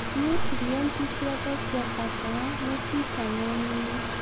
niutrienti ciothe cia bata ta vitameni.